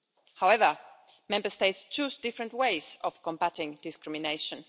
However, Member States choose different ways of combating discrimination.